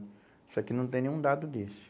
Isso aqui não tem nenhum dado desse.